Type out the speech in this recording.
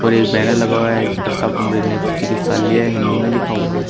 और एक बैनर लगा हुआ है जिसपर शाकुंभरी नेत्र चिकित्सालय हिंदी में लिखा हुआ है।